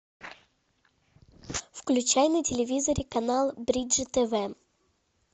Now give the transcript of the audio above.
включай на телевизоре канал бридж тв